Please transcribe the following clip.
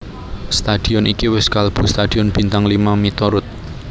Stadion iki wis kalebu stadion bintang lima miturut